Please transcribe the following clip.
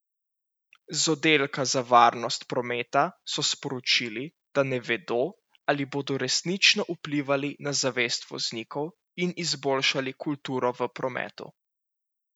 Z Oddelka za varnost prometa so sporočili, da ne vedo, ali bodo resnično vplivali na zavest voznikov in izboljšali kulturo v prometu.